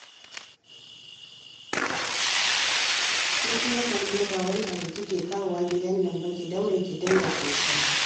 Ke kuma Karima ba wani abu kike kawowa gidan nan ba, ki daure ki dinga tattali